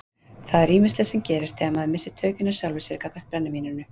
Það er ýmislegt sem gerist þegar maður missir tökin á sjálfum sér gagnvart brennivíninu.